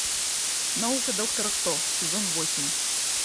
наука доктора кто сезон восемь